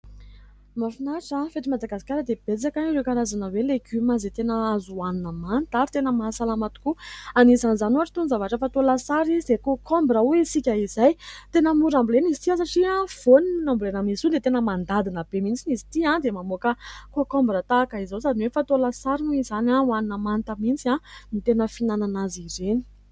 mahafinatra fa eto Madagasikara dia betsaka ireo karazana hoe Legioma izay tena azo hoanina manta ary tena mahasalama tokoa, anisan'izany toy ny zavatra fatao lasary izay "concombre" hoy isika izay tena mora ambolena izy ity satria voaniny ambolena aminy izy ty dia tena mandadina be mihintsy na izy ity dia mamoaka "concombre" tahaka izao sady hoe fatao lasary izany, oanina manta mihintsy ny tena finanana azy ireny.